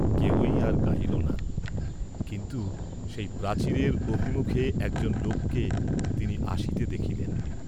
কেহই আর গাহিল না, কিন্তু সেই প্রাচীরের অভিমুখে একজন লোককে তিনি আসিতে দেখিলেন।